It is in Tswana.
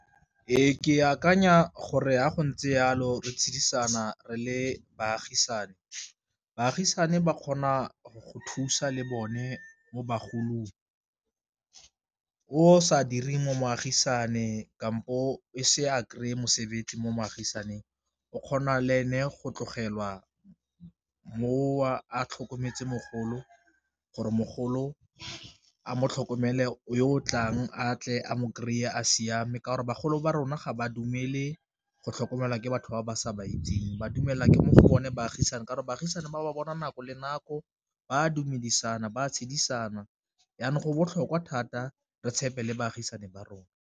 Ee ke akanya gore ya go ntse jalo re tshedisana re le baagisane, baagisane ba kgona go thusa le bone mo bagolong o sa direng mo moagisane kampo e se a kry-e mosebetsi mo moagisaning o kgona le ene go tlogelwa mo a tlhokometse mogolo gore mogolo a mo tlhokomele o tlang a tle a mo kry-e siame, ka gore bagolo ba rona ga ba dumele go tlhokomelwa ke batho ba ba sa ba itseng ba dumela ke mo go bone baagisane ka gore baagisane ba bona nako le nako ba a dumedisana ba tshedisana jaanong go botlhokwa thata re tshepe le baagisane ba rona.